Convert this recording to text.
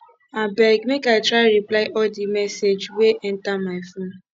abeg make i try reply all di message wey enta my phone